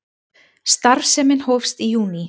Starfsemin hófst í júní